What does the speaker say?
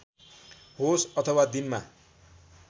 होस् अथवा दिनमा